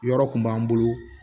Yɔrɔ kun b'an bolo